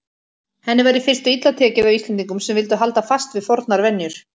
Henni var í fyrstu illa tekið af Íslendingum sem vildu halda fast við fornar venjur.